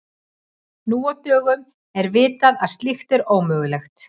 Nú á dögum er vitað að slíkt er ómögulegt.